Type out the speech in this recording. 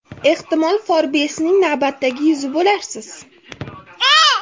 Ehtimol Forbes’ning navbatdagi yuzi bo‘larsiz.